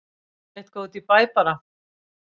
Eitthvað út í bæ bara.